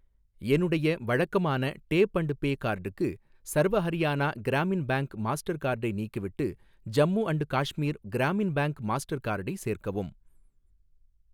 என்னுடைய வழக்கமான tap and pay கார்டுக்கு, சர்வ ஹரியானா கிராமின் பேங்க் மாஸ்டர் கார்டை நீக்கிவிட்டு Jammu and Kashmir Gramin bank master கார்டை சேர்க்கவும்.